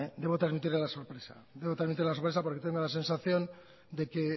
debo trasmitir la sorpresa porque tengo la sensación de que